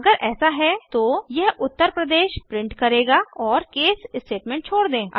अगर ऐसा है तो यह उत्तर प्रदेश प्रिंट करेगा और केस स्टेटमेंट छोड़ दें